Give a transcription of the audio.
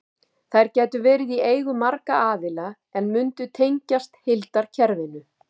Þær gætu verið í eigu margra aðila en mundu tengjast heildarkerfinu.